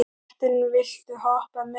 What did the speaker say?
Marthen, viltu hoppa með mér?